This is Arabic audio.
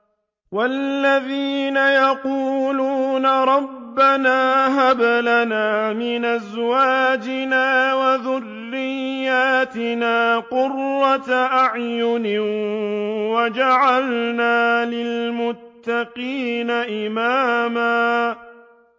وَالَّذِينَ يَقُولُونَ رَبَّنَا هَبْ لَنَا مِنْ أَزْوَاجِنَا وَذُرِّيَّاتِنَا قُرَّةَ أَعْيُنٍ وَاجْعَلْنَا لِلْمُتَّقِينَ إِمَامًا